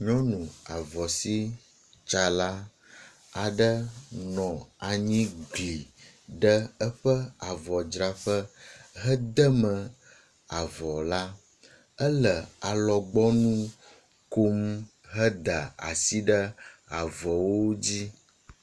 nyɔnu avɔ sitsala aɖe nɔ anyi gli ɖe eƒe avɔ dzraƒe edeme avɔ la éle alɔgbɔŋu kom heda asi ɖe avɔwo dzi